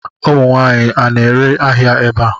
Ụmụ nwaanyị, a na-ere ahịa ebe a?